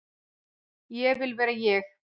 Ég vil vera ég.